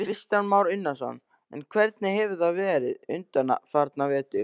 Kristján Már Unnarsson: En hvernig hefur það verið undanfarna vetur?